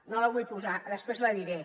no la vull posar després la diré